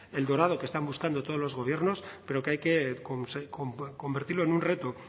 el dorado que están buscando todos los gobiernos pero que hay que convertirlo en un reto